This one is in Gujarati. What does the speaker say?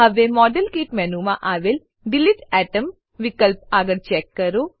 હવે મોડેલકીટ મેનુમાં આવેલ ડિલીટ એટોમ વિકલ્પ આગળ ચેક કરો